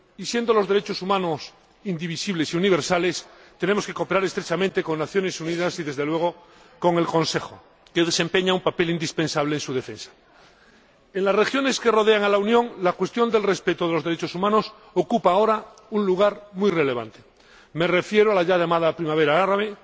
Dado que los derechos humanos son indivisibles y universales, tenemos que cooperar estrechamente con las Naciones Unidas y, desde luego, con el Consejo, que desempeña un papel indispensable en su defensa. En las regiones que rodean a la Unión, la cuestión del respeto de los derechos humanos ocupa ahora un lugar muy relevante me refiero a la ya llamada Primavera árabe